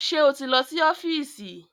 Ṣé o ti lọ sí ọ́fíìsì?